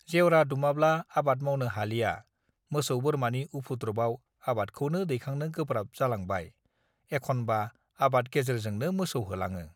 जेवरा दुमाब्ला आबाद मावनो हालिया मोसौ बोरमानि उफुद्रुबआव आबादखौनो दैखांनो गोब्राब जालांबाय एखनबा आबाद गेजेरजोंनो मोसौ होलाङो